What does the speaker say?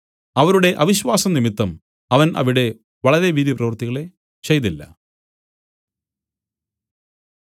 അവരുടെ അവിശ്വാസം നിമിത്തം അവൻ അവിടെ വളരെ വീര്യപ്രവൃത്തികളെ ചെയ്തില്ല